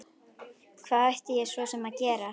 Hvað ætti ég svo sem að gera?